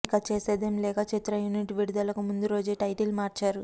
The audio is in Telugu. ఇక చేసేదేం లేక చిత్ర యూనిట్ విడుదలకు ముందు రోజే టైటిల్ మార్చారు